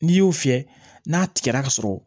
N'i y'o fiyɛ n'a tigɛra ka sɔrɔ